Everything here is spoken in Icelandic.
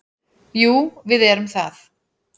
Jú, við erum það.